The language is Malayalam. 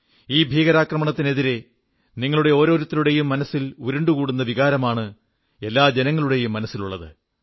ഈ ഭീകരാക്രമണത്തിനെതിരെ നിങ്ങളുടെ ഓരോരുത്തരുടെയും മനസ്സിൽ ഉരുണ്ടുകൂടുന്ന വികാരമാണ് എല്ലാ ജനങ്ങളുടെയും മനസ്സിലുള്ളത്